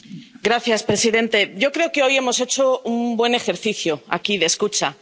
Señor presidente, yo creo que hoy hemos hecho un buen ejercicio, aquí, de escucha